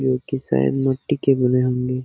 जो की शायद मिट्टी के बने होंगे ।